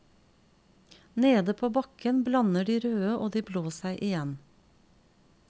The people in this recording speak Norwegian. Nede på bakken blander de røde og de blå seg igjen.